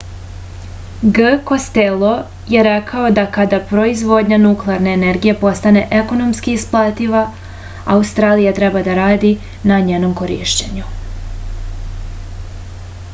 g kostelo je rekao da kada proizvodnja nuklarne energije postane ekonomski isplativa australija treba da radi na njenom korišćenju